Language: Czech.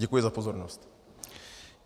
Děkuji za pozornost.